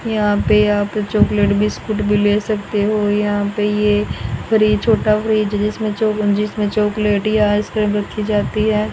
यहां पे यहां चॉकलेट बिस्किट भी ले सकते हो। यहां पे ये फ्रिज छोटा फ्रिज जिसमें जिसमें चॉकलेटी रखी जाती है।